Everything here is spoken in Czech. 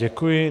Děkuji.